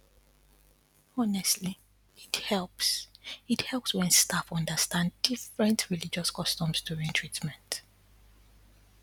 honestly it helps it helps when staff understand different religious customs during treatment